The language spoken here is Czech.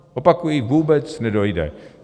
Opakuji, vůbec nedojde!